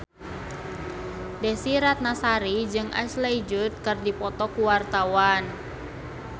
Desy Ratnasari jeung Ashley Judd keur dipoto ku wartawan